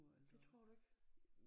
Det tror du ikke?